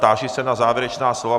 Táži se na závěrečná slova.